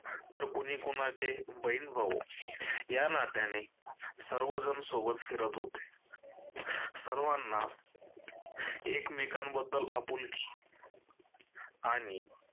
तर कोणी कोणाचे बहिण भाऊ या नात्याने सर्वजण सोबत फिरत होते. सर्वांना एकमेकांबद्दल आपुलकी आणि